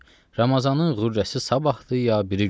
Ramazanın qürrəsi sabahdır ya biri gündür?